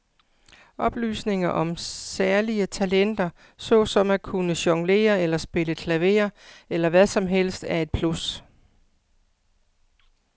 Oplysninger om særlige talenter såsom at kunne jonglere eller spille klaver eller hvad som helst er et plus.